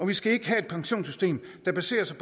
vi skal ikke have et pensionssystem der baserer sig